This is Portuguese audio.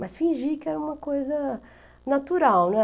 Mas fingi que era uma coisa natural, né.